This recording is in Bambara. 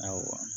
Awɔ